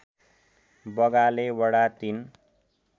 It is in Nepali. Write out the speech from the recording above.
बगाले वडा ३